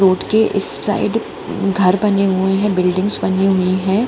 Road के इस side घर बने हुए हैं बिल्डिंग्स बनी हुई है।